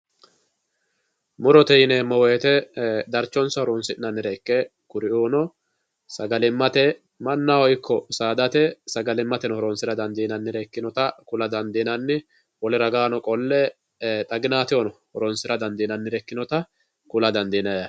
murote yineemo woyiite darchonsa horonsi'nanniha ikke kuri"uuno sagalimmate mannaho ikko saadate sagalimmateno horonsira dandiinannire ikkinota kula dandiinanni wole ragaano qolle xaginaatehono horonsira dandiinannire ikinota kula dandiinayi yaate.